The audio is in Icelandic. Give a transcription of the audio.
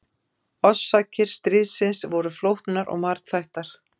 Orsakir stríðsins voru flóknar og margþættar.